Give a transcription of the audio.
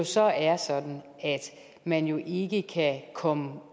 så er sådan at man ikke kan komme